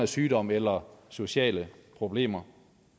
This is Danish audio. sygdom eller sociale problemer